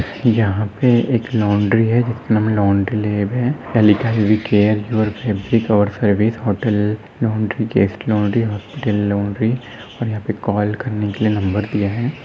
यहाँ पे एक लॉन्ड्री है जिसमे लॉन्ड्री लैब है लिखा है वी केयर योर फैब्रिक और service hotel laundry guest laundry hospital laundry यहाँ पे कॉल करने के लिए नंबर दिया है।